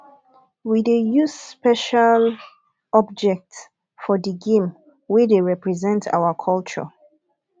we dey use special objects for di game wey dey represent our culture